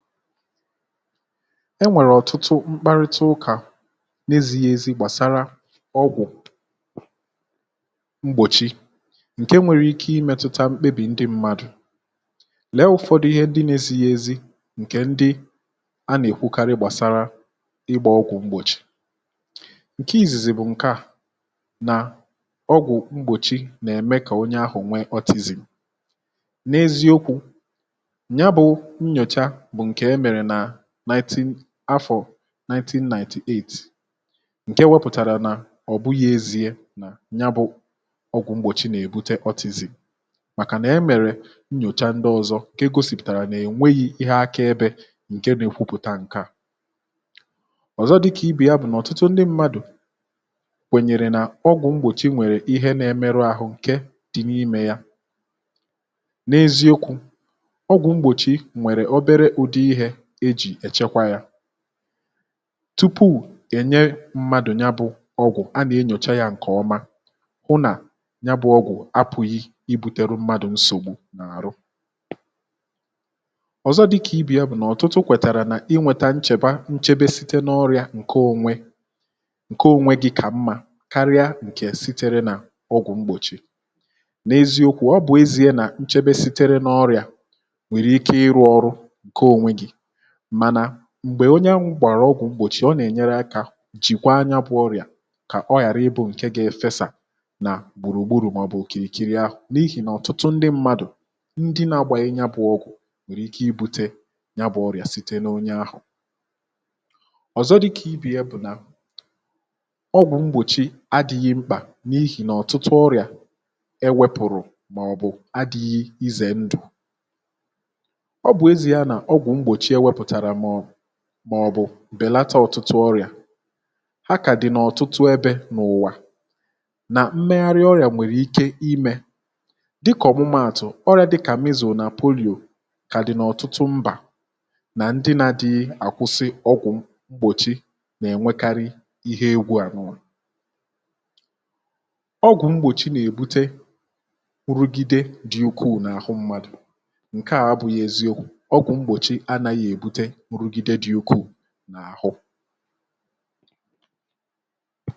enwèrè ọ̀tụtụ mkparịta ụkà n’ezighi ezi gbàsara ọgwụ̀ mgbòchi ǹke nwèrè ike imėtụta mkpebì ndị mmadụ̀, lee ụ̀fọdụ ihe ndị n’ezighi ezi ǹkè ndị a nà-èkwukarị gbàsara ịgbȧ ọgwụ̀ mgbòchi, ǹke izìzì bụ̀ ǹke à nà ọgwụ̀ mgbòchi nà-ème kà onye ahụ̀ nwee ọtịzị̀m n’eziokwu̇ ya bu nyocha bu nke emere n'afọ̀ 1998 ǹke wepụ̀tàrà nà ọ̀ bụghị ezie nà ya bụ ọgwụ̀ mgbòchi nà-èbute ọtịzị̀m màkà nà e mèrè nnyòcha ndị ọzọ ǹke gosìpụ̀tàrà nà-ènweghi ihe aka ebė ǹke nȧ-èkwupụ̀ta ǹke à, ọ̀zọ dịkà ibè ya bụ̀ nà ọ̀tụtụ ndị mmadụ̀ kwènyèrè nà ọgwụ̀ mgbòchi nwèrè ihe na-emerụ ahụ̀ ǹke dị n’imė ya, n’eziokwu̇ ọgwụ mgbochi nwere obere ụdị ihe eji echekwa ya tupu ènye mmadụ̀ ya bụ̇ ọgwụ̀ a nà-enyòcha yȧ ǹkè ọma hụ nà ya bụ̇ ọgwụ̀ apụ̀ghị ibu̇tere mmadụ̀ nsògbu n’àrụ, ọ̀zọ dịkà ibi̇ ya bụ̀ nà ọ̀tụtụ kwètàrà nà inwètà nchèba nchebe site n’ọrịà ǹke onwe gị̇ kà mmȧ karịa ǹkè sitere n’ọgwụ̀ mgbòchì n’eziokwu ọ bụ̀ ezie nà nchebe sitere n’ọrịà nwereike iru ọrụ nke onwe gị mana m̀gbè onye ahụ gbàrà ọgwụ̀ mgbòchi ọ nà-ènyere akȧ jìkwa ya bụ̇ ọrịà kà ọ ghàra ịbụ̇ ǹke ga-efesà nà gbùrùgburù màọ̀bụ̀ òkìrìkiri ahụ̀ n’ihì nà ọ̀tụtụ ndị mmadụ̀ ndị na-agbàghị ya bụ̇ ọgwụ̀ nwèrè ike ibu̇tė ya bụ̇ ọrịà site n’onye ahụ̀ ọ̀zọ dịkà ibe ya bụ̀ nà ọgwụ̀ mgbòchi adị̇ghị̇ mkpà n’ihì nà ọ̀tụtụ ọrịà enwepùrù màọ̀bụ̀ adị̇ghị izè ndù ọ bụ ezie na ọgwụ mgbochi enweputara màọ̀bụ̀ bèlata ọ̀tụtụ ọrị̀à, ha kàdì nà ọ̀tụtụ ebė n’ụ̀wà nà mmegharị ọrị̀à nwèrè ike imė dịkà ọ̀mụmatụ̀ ọrị̀à dịkà mizu na polìò kà dị̀ n’ọ̀tụtụ mbà nà ndị na dị àkwụsị ọgwụ̀ mgbòchi nà-ènwekarị ihe egwu à nua ọgwụ mgbòchi nà-èbute nrugide dị ukwuù n’àhụ mmadù ,nkea abụghị eziokwu ọkwụ ,ọgwụ mgbochi anaghị ebute nrụgide dị ukwuu na ahụ